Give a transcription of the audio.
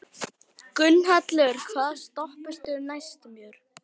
Gunnhallur, hvaða stoppistöð er næst mér?